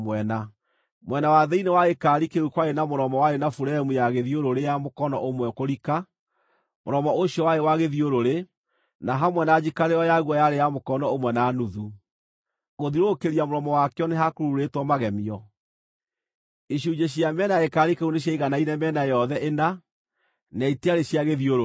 Mwena wa thĩinĩ wa gĩkaari kĩu kwarĩ na mũromo warĩ na buremu ya gĩthiũrũrĩ ya mũkono ũmwe kũrika. Mũromo ũcio warĩ wa gĩthiũrũrĩ, na hamwe na njikarĩro yaguo yarĩ ya mũkono ũmwe na nuthu. Gũthiũrũrũkĩria mũromo wakĩo nĩ ha kururĩtwo magemio. Icunjĩ cia mĩena ya gĩkaari kĩu nĩciaiganaine mĩena yothe ĩna, na itiarĩ cia gĩthiũrũrĩ.